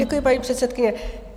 Děkuji, paní předsedkyně.